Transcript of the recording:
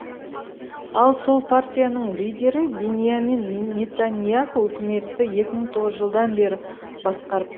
ал сол партияның лидері биньямин нетаньяху үкіметті екі мың тоғызыншы жылдан бері басқарып